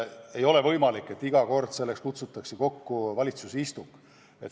Ei ole võimalik, et iga kord kutsutakse selleks kokku valitsuse istung.